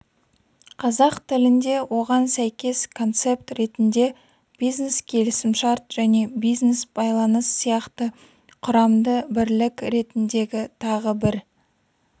қазақ тілінде оған сәйкес концепт ретінде бизнес келісімшарт және бизнес-байланыс сияқты құрамды бірлік ретіндегі тағы бір